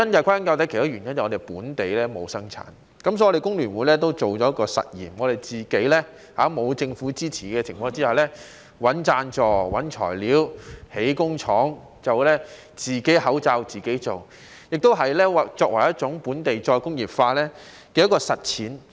歸根究底，其中一個原因是香港本地沒有生產，所以工聯會也做了一個實驗，我們在沒有政府支持的情況下，自己找贊助、找材料、建工廠，自己口罩自己做，也是作為本地再工業化的一項實踐。